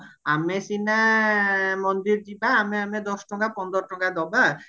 ଆମେ ସିନା ମନ୍ଦିର ଯିବା ଆମେ ଆମେ ଦଶ ଟଙ୍କା ପନ୍ଦର ଟଙ୍କା ଦବା